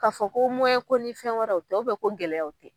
Ka fɔ ko ko ni fɛn wɛrɛw o tɛ ko gɛlɛyaw o tɛ.